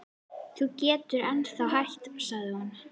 Þú getur ennþá hætt sagði hún.